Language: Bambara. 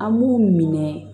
An b'u minɛ